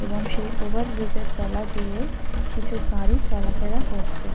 এবং সেই over bridge এর তলা দিয়ে কিছু গাড়ি চলাফেরা করছে।